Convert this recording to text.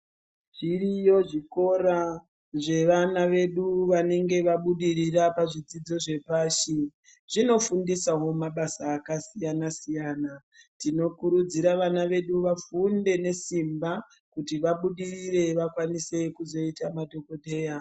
Zviriyo zvikora zvevana vedu vanonga vabudirira pazvidzidzo zvepashi, zvonofundisavo mabasa akasiyana-siyana. Tinokurudzira vana vedu vafunde nesimba kuti vabudirire vakwanise kuzvoita madhogodheya.